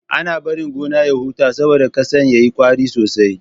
Ana bari gona ya huta saboda ƙasan ya yi ƙwari sosai.